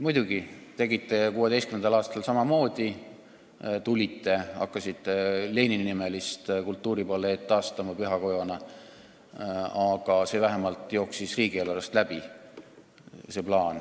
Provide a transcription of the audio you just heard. Muidugi, 2016. aastal tegite samamoodi: tulite ja hakkasite Lenini-nimelist kultuuripaleed taastama pühakojana, aga see plaan vähemalt jooksis riigieelarvest läbi.